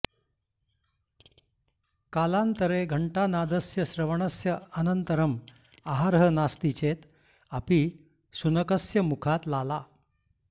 कालान्तरे घण्टानादस्य श्रवणस्य अनन्तरम् आहारः नास्ति चेत् अपि शुनकस्य मुखात् लाला